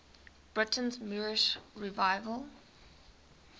britain's moorish revival